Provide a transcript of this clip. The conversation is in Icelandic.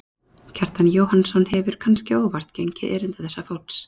Kjartan Jóhannsson hefur, kannske óvart, gengið erinda þessa fólks.